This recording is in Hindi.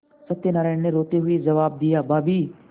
सत्यनाराण ने रोते हुए जवाब दियाभाभी